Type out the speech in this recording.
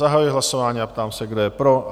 Zahajuji hlasování a ptám se, kdo je pro?